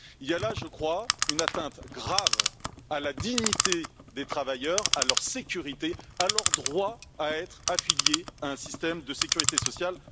Il y a là, je crois, une atteinte grave à la dignité des travailleurs, à leur sécurité, à leur droit à être affilié à un système de sécurité sociale.